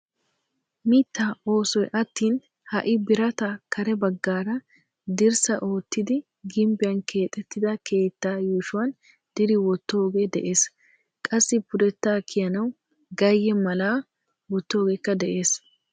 Mittaa oosoy attin ha'i biraataa kare baggaara dirssa oottidi gimbbiyaan keexettida keettaa yuushshuwaan diri wottoogee de'ees. qassi pudettaa kiyanawu gayye mala wottogeekka de'ees.